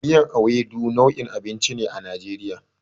Miyar Ewedu nau'in abinci ne a Najeriya.